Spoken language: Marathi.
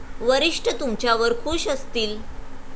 वरिष्ठ तुमच्यावर खूश असतील.